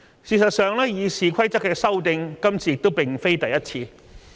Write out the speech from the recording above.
事實上，關於《議事規則》的修訂，這次並非第一次。